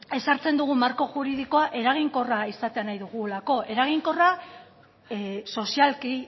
ezartzen dugun marko juridikoa eraginkorra izatea nahi dugulako eraginkorra sozialki